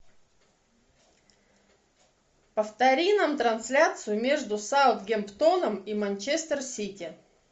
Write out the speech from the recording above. повтори нам трансляцию между саутгемптоном и манчестер сити